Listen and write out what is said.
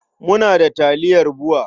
Muna da taliyar BUA.